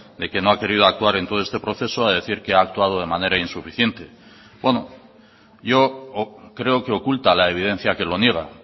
de que no ha querido actuar en todo este proceso a decir que ha actuado de manera insuficiente bueno yo creo que oculta la evidencia que lo niega